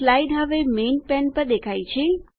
slide હવે main pane પર દેખાય છે